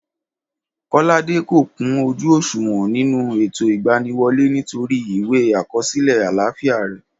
Kọ́ládé kò kún ojú òṣùwọ̀n nínú ètò ìgbaniwọlé, nítorí ìwé àkọsílẹ àlàfíà re